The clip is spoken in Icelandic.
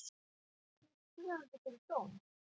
Stefnir fyrrverandi fyrir dóm